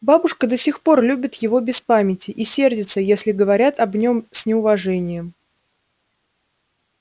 бабушка до сих пор любит его без памяти и сердится если говорят об нем с неуважением